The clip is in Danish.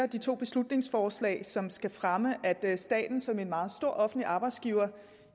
de to beslutningsforslag som skal fremme at staten som en meget stor offentlig arbejdsgiver